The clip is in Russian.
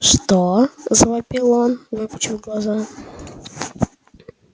что завопил он выпучив глаза